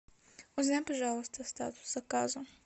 узнай пожалуйста статус заказа